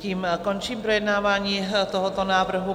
Tím končím projednávání tohoto návrhu.